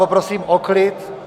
Poprosím o klid!